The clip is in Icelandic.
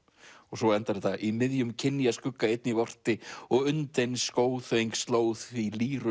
svo endar þetta í miðjum einn ég orti og undinn sló því